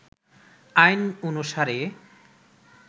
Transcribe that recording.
আইন অনুসারে